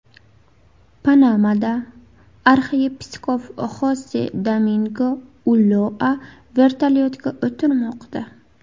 Panamada arxiyepiskop Xose Domingo Ulloa vertolyotga o‘tirmoqda.